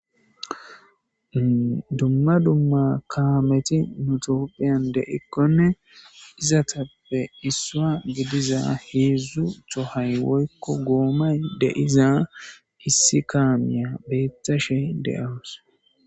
dumma dumma kaameti nutoophiyan deikkonne izatappe issua gediza heedzdzu tohay woykko goomay deiza issi kaamiya beettashe de7awus